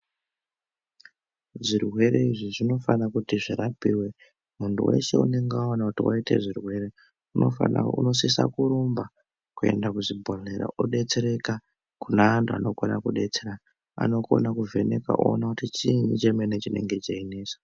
Zvirwere izvi zvinofana kuti zvirapiwe muntu weshe unonga waona kuti waita zvirwere unosisa kurumba kuenda kuzvibhedhlera odetsereka. Kune antu anokona ku detsera anokona kuvheneka oona kuti chiini chemene chinenge cheinesa.